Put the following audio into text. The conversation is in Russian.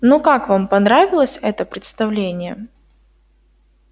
ну как вам понравилось это представление